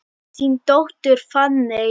Þín dóttir, Fanney.